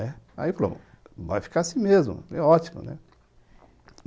Aí ele falou, vai ficar assim mesmo, é ótimo, né.